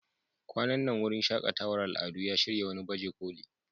Kwanan nan wurin shaƙatawar al'adu ya shirya wani baje koli.